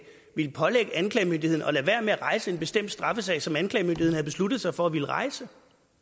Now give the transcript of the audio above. ville pålægge anklagemyndigheden at lade være med at rejse en bestemt straffesag som anklagemyndigheden havde besluttet sig for at ville rejse